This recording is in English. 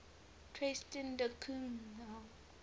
tristan da cunha